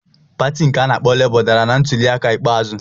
Pati nke a na-akpọ Labour dara na ntuliaka ikpeazụ.